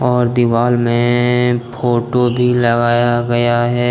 और दीवाल में फोटो भी लगाया गया है।